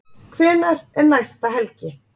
Hvenær er næsta helgi?